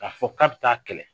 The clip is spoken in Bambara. K'a fɔ k'a bi taa kɛlɛ.